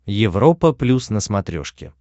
европа плюс на смотрешке